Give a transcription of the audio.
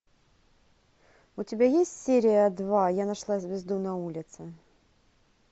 у тебя есть серия два я нашла звезду на улице